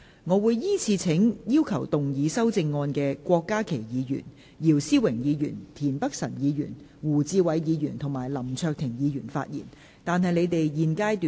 我會依次請要動議修正案的郭家麒議員、姚思榮議員、田北辰議員、胡志偉議員及林卓廷議員發言，但他們在現階段不可動議修正案。